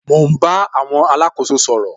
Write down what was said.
Mo ń bá àwọn alákóso sọ̀rọ̀